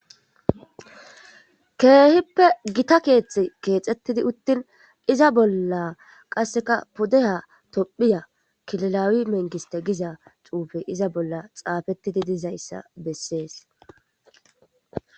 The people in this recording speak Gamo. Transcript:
Keehippe gita keexte keexxettidi uttin iza bolla qasseka pudeha tomphiya kililawi mengiste giza cuufe iza bolla xaafettidi dizayssa bessees